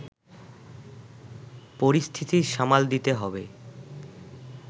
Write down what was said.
পরিস্থিতি সামাল দিতে হবে